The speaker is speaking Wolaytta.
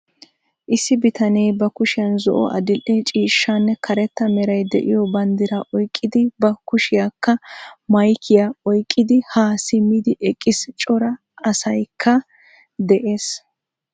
Issi bitane ba kushiyan zo"o, adil"e ciishshaanne karetta meray de'iyo banddiraa oyqidi ba kushiyakka maykkiya oyqqidi ha simmidi eqqiis. Cora asaykka de'ees.